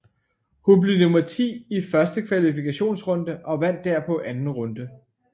Hun blev nummer ti i første kvalifikationsrunde og vandt derpå anden runde